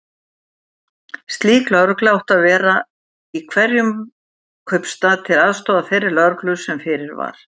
Slík lögregla átti að vera í hverjum kaupstað, til aðstoðar þeirri lögreglu sem fyrir var.